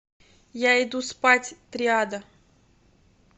я иду спать триада